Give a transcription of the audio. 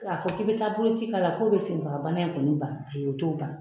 Ka fɔ k'i be taa boloci k'a la k'o bi senfaga bana in kɔni bali , ayi o t'o bali.